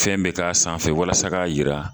Fɛn bɛ k'a san walasa ka yira